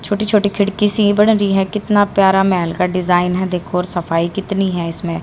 छोटी छोटी खिड़की सी बन रही है कितना प्यारा महल का डिजाइन है देखो और सफाई कितनी है इसमें--